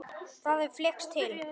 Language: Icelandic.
Það hefði flykkst til